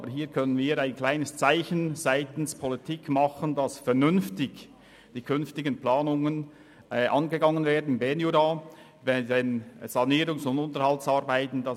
Dennoch können wir ein bescheidenes Zeichen seitens der Politik setzen, sodass die künftigen Planungen im Berner Jura während der Sanierungs- und Unterhaltsarbeiten vernünftig angegangen werden.